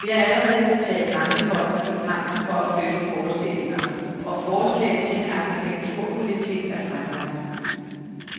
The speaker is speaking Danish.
Vi har allerede betalt mangefold, i kampen for at flytte forestillinger, og forslaget til en arkitekturpolitik er fremlagt.